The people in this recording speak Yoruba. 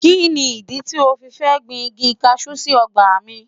Kí ni ìdí tí o fi fẹ́ gbin igi kaṣú sí ọgbà mi?